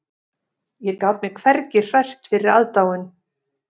Ég gat mig hvergi hrært fyrir aðdáun